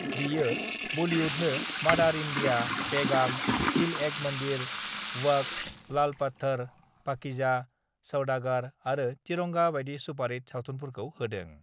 बियो बलिउडनो 'मादार इन्डिया, पेगाम, दिल एक मन्दिर, वक्त, लालपत्थर, पाकिजा, सौदागार आरो तिरंगा बायदि सुपारहिट सावथुनफोरखौ होदों।